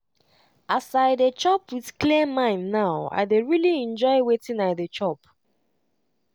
as i dey chop with clear mind now i dey really enjoy wetin i dey chop.